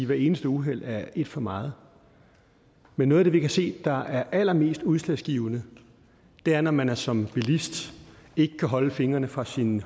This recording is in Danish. hvert eneste uheld er et for meget men noget af det vi kan se er allermest udslagsgivende er når man som bilist ikke kan holde fingrene fra sin